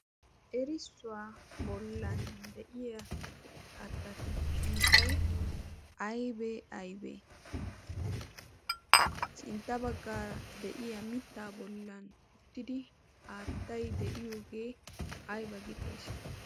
erissuwaa bollan de'iya kattatu sunttay aybee aybee sintta baggaara de'iya mittaa bollan uttidi aattay de'iyoogee ayba gi xees